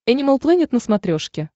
энимал плэнет на смотрешке